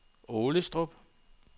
Aalestrup